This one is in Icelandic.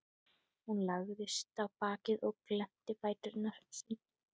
Hún lagðist á bakið og glennti fæturna sundur.